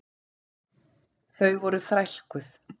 Þau voru þrælkuð.